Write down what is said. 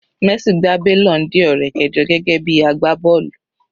Messi gba balloon Dior rẹ̀ kẹjọ gẹ́gẹ́ bí agbá bọ́ọ̀lù.